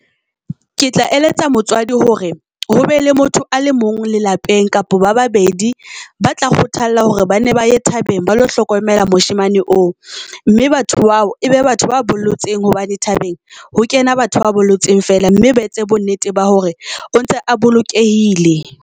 Ke tla eletsa motswadi hore ho be le motho a le mong lelapeng kapa ba babedi ba tla kgothala hore ba ne ba ye thabeng. Ba lo hlokomela moshemane oo, mme batho bao e be batho ba bollotseng. Hobane thabeng ho kena batho ba bollotseng fela mme ba etse bo nnete ba hore o ntse a bolokehile.